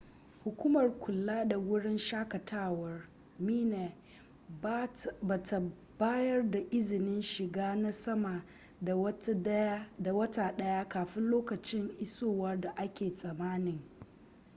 hukumar kula da wurin shaƙatawar minae ba ta bayar da izinin shiga na sama da wata ɗaya kafin lokacin isowa da ake tsammani